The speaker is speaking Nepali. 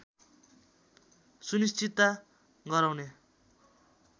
सुनिश्चितता गराउने